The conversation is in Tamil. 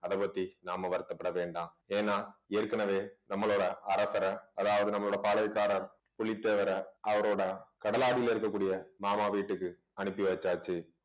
அதைப் பத்தி நாம வருத்தப்பட வேண்டாம் ஏன்னா ஏற்கனவே நம்மளோட அரசரை அதாவது நம்மளோட பாளையக்காரர் புலித்தேவர் அவரோட கடலாடியில இருக்கக்கூடிய மாமா வீட்டுக்கு அனுப்பி வச்சாச்சு